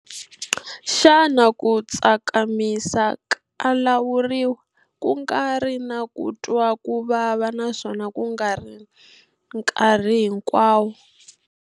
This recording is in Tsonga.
Xana ku tsakimisa ka lawuriwa, ku nga ri na ku twa ku vava naswona ku nga ri nkarhi hinkwawo?